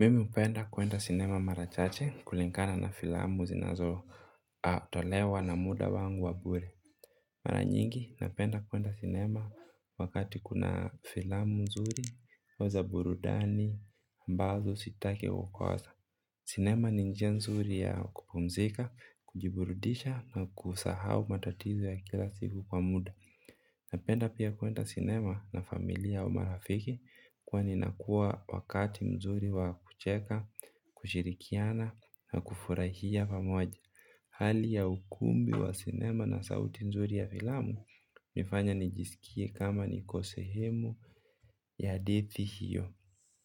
Mimi hupenda kuenda cinema mara chache kulingana na filamu zinazo tolewa na muda wangu wa bure. Mara nyingi napenda kwenda cinema wakati kuna filamu nzuri ama za burudani ambazo sitaki kukosa. Cinema nibnjia nzuri ya kupumzika, kujiburudisha na kusahau matatizo ya kila siku kwa muda. Napenda pia kuenda cinema na familia au marafiki. Kwani inakua wakati mzuri wa kucheka kushirikiana na kufurahia pamoja. Hali ya ukumbi wa sinema na sauti nzuri ya filamu inafanya nijisikie kama niko sehemu ya hadithi hiyo.